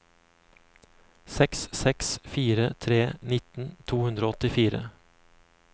seks seks fire tre nitten to hundre og åttifire